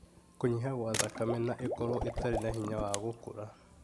Kũnyiha kwa thakame, na ikorwo itarĩ na hinya wa gũkũra.